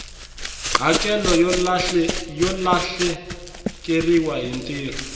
hakelo yo lahlekeriwa hi ntirho